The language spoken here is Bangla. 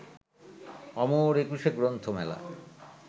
অমর একুশে গ্রন্থমেলা